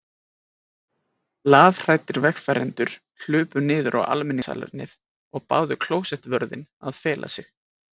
Lafhræddir vegfarendur hlupu niður á almenningssalernið og báðu klósettvörðinn að fela sig.